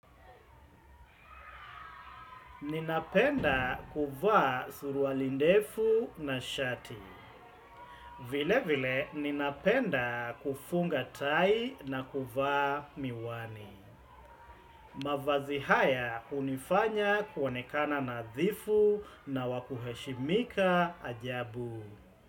Ninapenda kuvaa suruali ndefu na shati. Vilevile ninapenda kufunga tai na kuvaa miwani. Mavazi haya hunifanya kuonekana nadhifu na wa kuheshimika ajabu.